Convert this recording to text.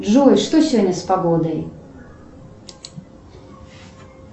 джой что сегодня с погодой